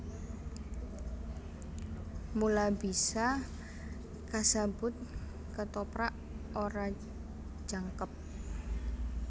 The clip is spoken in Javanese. Mula bisa kasebut Kethoprak ora jangkep